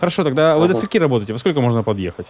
хорошо тогда вы до скольки работаете во сколько можно подъехать